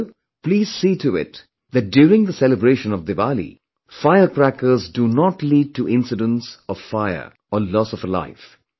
Also, please see to it that during the celebration of Diwali, firecrackers do not lead to incidents of fire or loss of a life